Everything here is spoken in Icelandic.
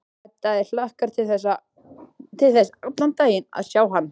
Edda hlakkar til þess allan daginn að sjá hann.